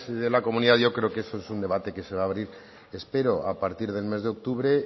de la comunidad yo creo que ese es un debate que se va a abrir espero a partir del mes de octubre